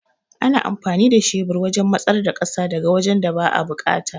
Ana amfani da shebur wajan matsar da ƙasa daga wajan da ba'a buƙata